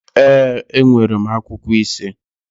Ee, enwere m akwụkwọ ise